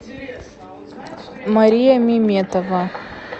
мария миметова